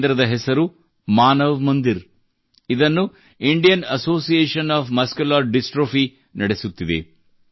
ಈ ಕೇಂದ್ರದ ಹೆಸರು ಮಾನವ್ ಮಂದಿರ್ ಎಂದಾಗಿದೆ ಇದನ್ನು Indian Association of Muscular Dystrophy ನಡೆಸುತ್ತಿದೆ